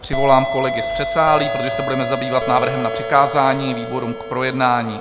Přivolám kolegy z předsálí, protože se budeme zabývat návrhem na přikázání výborům k projednání.